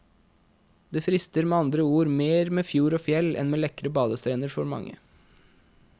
Det frister med andre ord mer med fjord og fjell enn med lekre badestrender for mange.